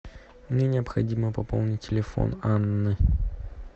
мне необходимо пополнить телефон анны